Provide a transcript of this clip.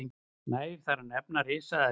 nægir þar að nefna risaeðlur